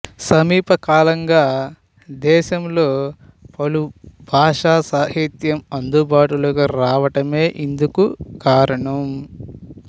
సమీపకాలంగా దేశంలో పలుభాషా సాహిత్యం అందుబాటులోకి రావడమే ఇందుకు కారణం